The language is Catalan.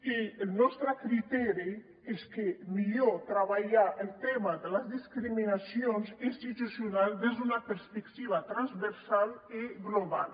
i el nostre criteri és que és millor treballar el tema de les discriminacions institucionals des d’una perspectiva transversal i global